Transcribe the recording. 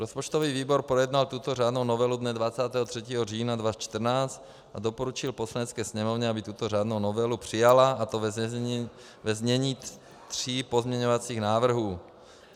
Rozpočtový výbor projednal tuto řádnou novelu dne 23. října 2014 a doporučil Poslanecké sněmovně, aby tuto řádnou novelu přijala, a to ve znění tří pozměňovacích návrhů.